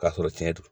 K'a sɔrɔ tiɲɛ don